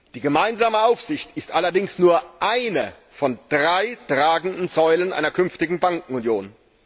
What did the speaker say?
Die gemeinsame Aufsicht ist allerdings nur eine von drei tragenden Säulen einer künftigen Bankenunion.